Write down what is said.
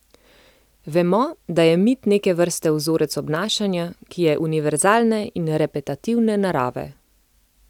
Vemo, da je mit neke vrste vzorec obnašanja, ki je univerzalne in repetitivne narave.